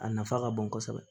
A nafa ka bon kosɛbɛ